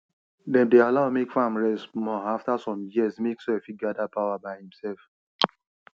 dem dey allow mek farm rest small after some years make soil fit gather power by imself